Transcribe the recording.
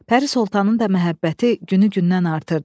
Pəri Sultanın da məhəbbəti günü-gündən artırdı.